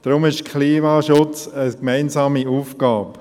Deshalb ist der Klimaschutz eine gemeinsame Aufgabe.